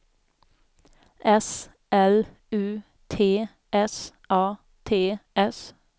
S L U T S A T S